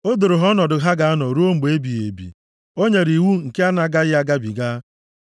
O doro ha nʼọnọdụ ha ga-anọ ruo mgbe ebighị ebi; o nyere iwu nke a na-agaghị agabiga.